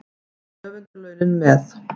Og höfundarlaunin með.